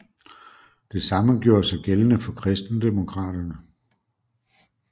Det samme gjorde sig gældende for Kristendemokraterne